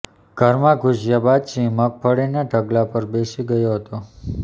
ઘરમાં ઘૂસ્યા બાદ સિંહ મગફળીના ઢગલા પર બેસી ગયો હતો